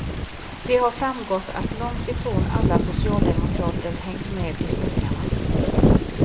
Det har framgått att långt ifrån alla socialdemokrater hängt med i svängarna.